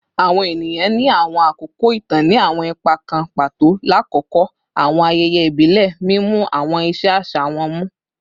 Awọn eniyan ni awọn akoko itan ni awọn ipa kan pato lakoko awọn ayẹyẹ ibile, mimu awọn iṣe aṣa wọn mu